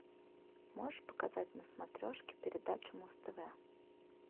можешь показать на смотрешке передачу муз тв